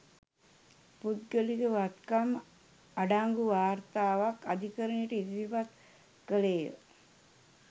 පෞද්ගලික වත්කම් අඩංගු වාර්තාවක් අධිකරණයට ඉදිරිපත් කළේය